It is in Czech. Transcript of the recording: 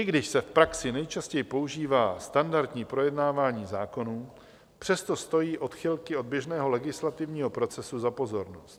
I když se v praxi nejčastěji používá standardní projednávání zákonů, přesto stojí odchylky od běžného legislativního procesu za pozornost.